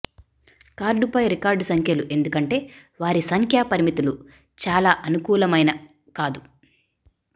కార్డుపై రికార్డ్ సంఖ్యలు ఎందుకంటే వారి సంఖ్య పరిమితులు చాలా అనుకూలమైన కాదు